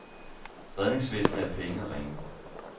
Redningsvestene er pæne og rene.